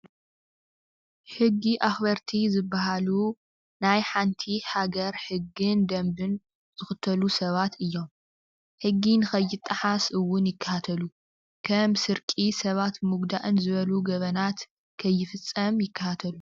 ሕጊ ኣክበርቲ ዝብሃሉ ናይ ሓንቲ ሃገር ሕግን ደንብን ዝክተሉ ሰባት እዮም፡፡ ሕጊ ንኸይጠሓስ እውን ይከታተሉ፡፡ ከም ስርቂ ሰባት ምጉዳእን ዝበሉ ገበናት ከይፍፀም ይከታተሉ፡፡